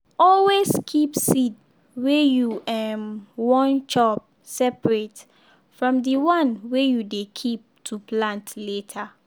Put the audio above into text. always keep seed wey you um wan chop separate from the one wey you dey keep to plant later.